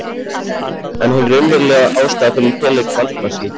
En hin raunverulega ástæða fyrir feluleik Valdimars í